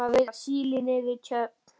Við erum að veiða síli niður við Tjörn.